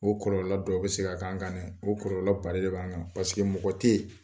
O kɔlɔlɔ dɔ bɛ se ka kan kan dɛ, o kɔlɔlɔba den de b'an kan paseke mɔgɔ tɛ yen